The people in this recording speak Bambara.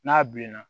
N'a bilenna